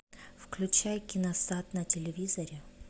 включай киносад на телевизоре